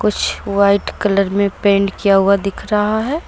कुछ white colour में paint किया हुआ दिख रहा है।